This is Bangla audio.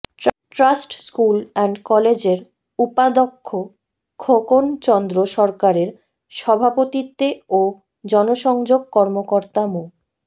ট্রাস্ট স্কুল অ্যান্ড কলেজের উপাধ্যক্ষ খোকন চন্দ্র সরকারের সভাপতিত্বে ও জনসংযোগ কর্মকর্তা মো